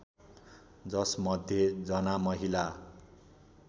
जसमध्ये जना महिला